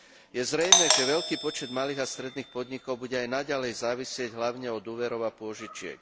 Je zrejmé, že veľký počet malých a stredných podnikov bude aj naďalej závisieť hlavne od úverov a pôžičiek.